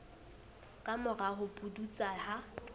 ka mora ho pudutsa ha